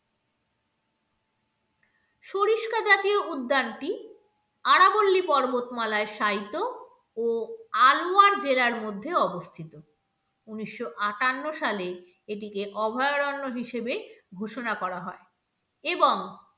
সরিষা জাতীয় উদ্যানটি আরাবল্লী পর্বতমালায় শায়িত ও আলোয়ার জেলার মধ্যে অবস্থিত উনিশশো-আটান্ন সালে এটিকে অভয়ারণ্য হিসেবে ঘোষণা করা হয় এবং